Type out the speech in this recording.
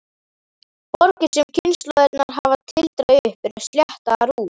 Borgir sem kynslóðirnar hafa tildrað upp eru sléttaðar út.